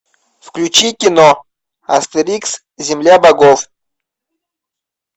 включи кино астерикс земля богов